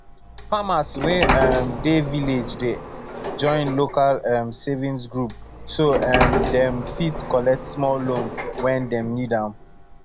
farmers wey um dey village dey join local um savings group so um dem fit collect small loan when dem need am